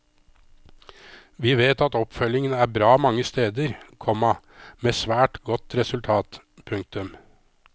Vi vet at oppfølgingen er bra mange steder, komma med svært godt resultat. punktum